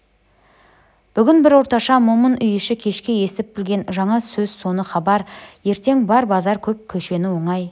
бүгін бір орташа момын үй іші кешке естіп-білген жаңа сөз соны хабар ертең бар базар көп көшені оңай